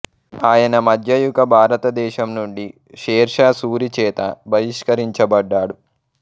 ఆయన మధ్యయుగ భారతదేశం నుండి షేర్ షా సూరి చేత బహిష్కరించబడ్డాడు